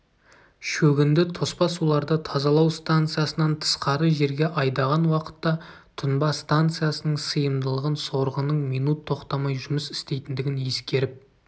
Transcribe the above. шөгінді тоспа суларды тазалау станциясынан тысқары жерге айдаған уақытта тұнба станциясының сыйымдылығын сорғының минут тоқтамай жұмыс істейтіндігін ескеріп